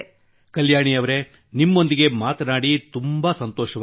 ಕಲ್ಯಾಣಿ ಅವರೆ ನಿಮ್ಮೊಂದಿಗೆ ಮಾತನಾಡಿ ತುಂಬಾ ಸಂತೋಷವಾಯಿತು